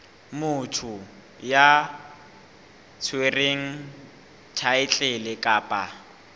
motho ya tshwereng thaetlele kapa